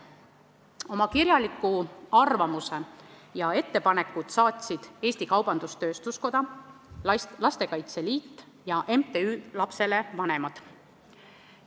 Oma kirjaliku arvamuse ja ettepanekud saatsid Eesti Kaubandus-Tööstuskoda, Lastekaitse Liit ja MTÜ Lapsele Vanemad.